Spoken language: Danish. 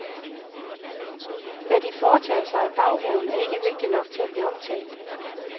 Hvad de foretager sig i baghaven, er ikke vigtigt nok til at blive omtalt.